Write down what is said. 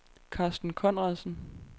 Carsten Conradsen